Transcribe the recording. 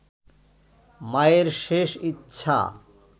মায়ের শেষ ইচ্ছা